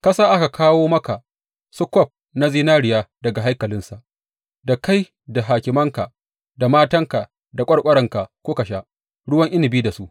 Ka sa aka kawo maka su kwaf na zinariya daga haikalinsa, da kai da hakimanka, da matanka da ƙwarƙwaranka kuka sha ruwan inabi da su.